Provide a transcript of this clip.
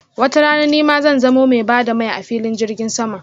watarana nima zan zamo mai ba da mai a filin jirgin sama.